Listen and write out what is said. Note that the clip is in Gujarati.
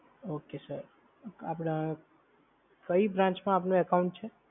ઓકે સર, આપડા કઈ branch માં આપનુ account છે?